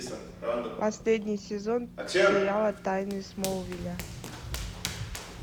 последний сезон сериала тайны смолвиля